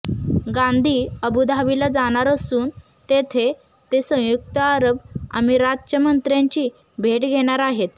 गांधी अबूधाबीला जाणार असून तिथे ते संयुक्त अरब अमिरातच्या मंत्र्यांची भेट घेणार आहेत